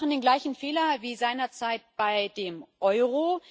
Sie machen den gleichen Fehler wie seinerzeit beim Euro.